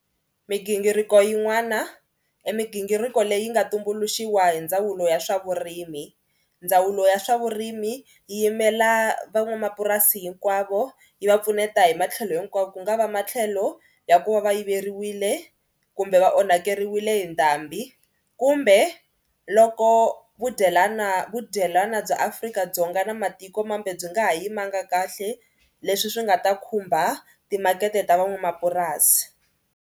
Migingiriko yin'wana i migingiriko leyi nga tumbuluxiwa hi ndzawulo ya swa vurimi. Ndzawulo ya swa vurimi yi yimela van'wamapurasi hinkwavo yi va pfuneta hi matlhelo hinkwawo. Ku nga va matlhelo ya ku va va yiveriwile kumbe va onhakeriwile hi ndhambi kumbe loko vudyelana vudyelwana bya Afrika-Dzonga na matikomambe byi nga ha yimanga kahle leswi swi nga ta khumba timakete ta van'wamapurasi.